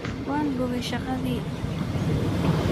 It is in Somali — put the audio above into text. Wanboge shagadhi.